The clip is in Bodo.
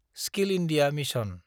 skill India mission